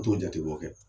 U t'o jate bɔ